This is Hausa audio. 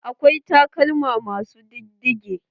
Akwai takalma ma su diddige.